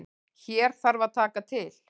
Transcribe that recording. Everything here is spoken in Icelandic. Hér þarf að taka til.